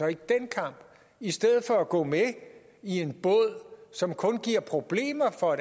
ikke den kamp i stedet for at gå med i en båd som kun giver problemer for